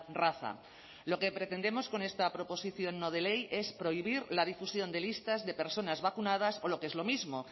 raza lo que pretendemos con esta proposición no de ley es prohibir la difusión de listas de personas vacunadas o lo que es lo mismo